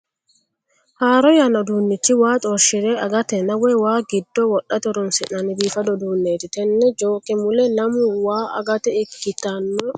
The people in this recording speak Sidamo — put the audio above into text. Haaro yanna uduunnichi waa xorshire agatenna woy waa giddo wodhate horoonsi'nanni biifado uduunneeti. Tenne jooke mule lamu waa agate ikkitanno kokkobbe no.